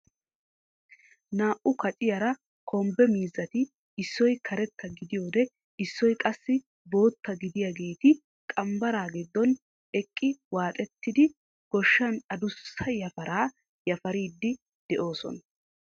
Naa"u kaaciyaara kombbe miizati issoy karetta gidiyoode issoy qassi bootta gidaageti qambbaraa giddon eqqi waaxettidi goshshan adussa yafaraa yafariidi de"oosona.